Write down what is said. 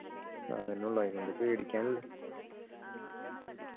അതല്ലേ ഉള്ളു പേടിക്കാനില്ല